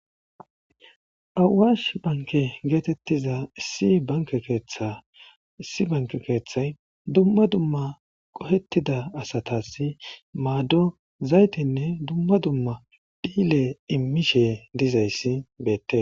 Awash bank getetiza issi banke ketha , issi banke kethay dumma dumma qohetida asatas mado zaytetenne dumma dumma dhile imishe dizays betes.